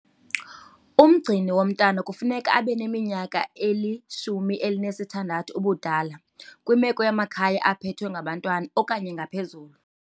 Umgcini womntwana kufuneka abe neminyaka eli-16 ubudala, kwimeko yamakhaya aphethwe ngabantwana, okanye ngaphezulu.